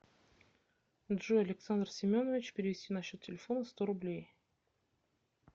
джой александр семенович перевести на счет телефона сто рублей